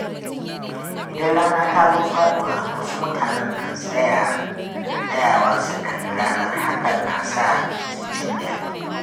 Idan rana ta zo faɗuwa, wasu mutanen kan tsayawa su kalli ranar, hakan na sa su jin daɗi